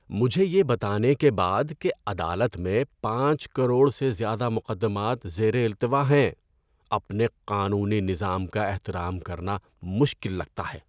مجھے یہ بتانے کے بعد کہ عدالت میں پانچ کروڑ سے زیادہ مقدمات زیر التوا ہیں، اپنے قانونی نظام کا احترام کرنا مشکل لگتا ہے۔